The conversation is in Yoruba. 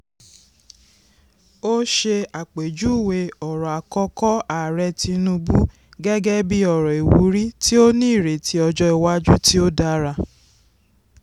ó ṣe àpèjúwe ọ̀rọ̀ àkọ́kọ́ ààrẹ tinubu gẹ́gẹ́ bí ọ̀rọ̀ ìwúrí tí ó ní ìrètí ọjọ́ iwájú tí ó dára.